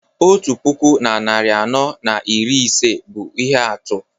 Otu puku na narị anọ na iri ise bụ ihe atụ